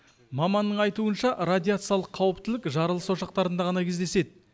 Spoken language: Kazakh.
маманның айтуынша радиациялық қауіптілік жарылыс ошақтарында ғана кездеседі